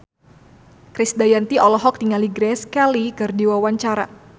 Krisdayanti olohok ningali Grace Kelly keur diwawancara